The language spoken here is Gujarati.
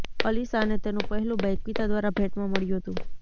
અલીશાને તેનું પહેલું બાઈક પિતા દ્વારા ભેંટમાં મળ્યું હતું